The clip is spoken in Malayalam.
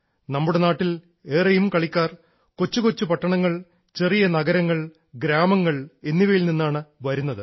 നമ്മുടെ നാട്ടിൽ ഏറെയും കളിക്കാർ കൊച്ചുകൊച്ചു പട്ടണങ്ങൾ ചെറിയ നഗരങ്ങൾ ഗ്രാമങ്ങൾ എന്നിവയിൽ നിന്നാണ് വരുന്നത്